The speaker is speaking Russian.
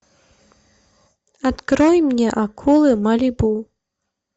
открой мне акулы малибу